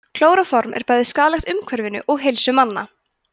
klóróform er bæði skaðlegt umhverfinu og heilsu manna